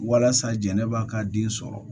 Walasa jɛnɛba ka den sɔrɔ